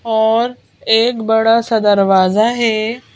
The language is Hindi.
और एक बड़ा सा दरवाजा है।